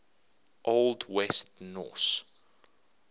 old west norse